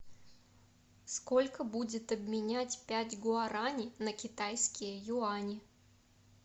сколько будет обменять пять гуарани на китайские юани